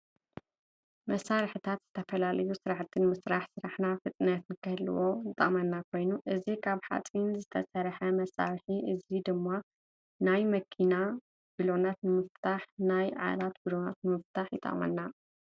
መሳሪሒታት ዝተፈላለዩ ስራሕቲ ንምስራሕ ስራሕና ፍጥነት ክንህልዎ ዝጠቅመና ኮይኑ እዚ ካብ ሓፂን ዝተሰረሐ መሳሪሒ እዚ ድማ ናይ መኪና ብሎናት ንምፍላሕን ናይ ዓራት ብሎናት ንምፍታሕን ይጠቅመና።